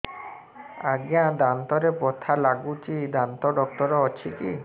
ଆଜ୍ଞା ଦାନ୍ତରେ ବଥା ଲାଗୁଚି ଦାନ୍ତ ଡାକ୍ତର ଅଛି କି